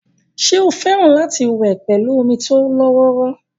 ṣé ó fẹ́ràn láti wẹ̀ pẹ̀lú omi tó lọ́wọ́rọ́